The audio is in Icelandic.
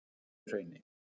Helluhrauni